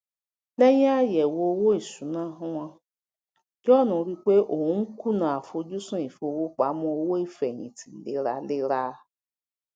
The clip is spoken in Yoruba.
léyìn àyèwò owó ìṣúnà wọn john rí i pé òun n kùnà àfojúsùn ìfowópamọ owó ìfẹyìntì léraléra